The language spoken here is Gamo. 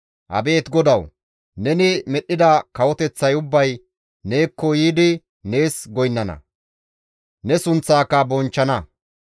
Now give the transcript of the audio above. Abeet Godawu! Neni medhdhida kawoteththay ubbay neekko yiidi nees goynnana; ne sunththaaka bonchchana.